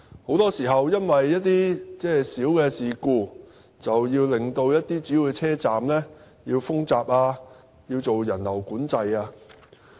很多時候，鐵路服務會因為一些小事故令主要車站封閘、實施人流管制。